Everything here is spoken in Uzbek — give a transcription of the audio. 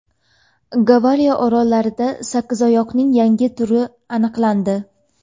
Gavayi orollarida sakkizoyoqning yangi turi aniqlandi .